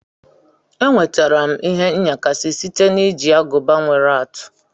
Enwetara m ihe nyakashi site na iji aguba nwere atụ.